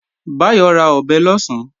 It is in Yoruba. Báyọ̀ ra ọ̀bẹ lọ̀sán